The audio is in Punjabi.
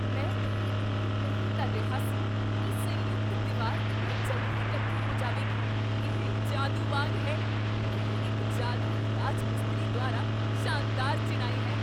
ਮੈਂ ਇਹ ਉਮੀਦ ਨਹੀਂ ਕਰ ਰਿਹਾ ਸੀ ਕੀ ਸੰਯੁਕਤ ਦੀਵਾਰ ਇੰਨੀ ਜਲਦੀ ਇਕੱਠੇ ਹੋ ਜਾਵੇਗੀ ਇਹ ਜਾਦੂ ਵਾਂਗ ਹੈ! ਇਹ ਇੱਕ ਜਾਦੂਈ ਰਾਜ ਮਿਸਤਰੀ ਦੁਆਰਾ ਸ਼ਾਨਦਾਰ ਚਿਣਾਈ ਹੈ